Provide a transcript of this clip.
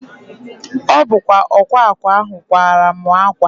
Ọ bụ ọkwa akwa ahụ kwara mụ akwa